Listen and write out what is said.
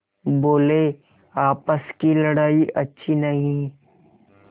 बोलेआपस की लड़ाई अच्छी नहीं